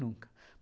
Nunca.